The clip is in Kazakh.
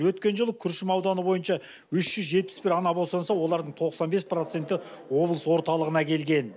өткен жылы күршім ауданы бойынша үш жүз жетпіс бір ана босанса олардың тоқсан бес проценті облыс орталығына келген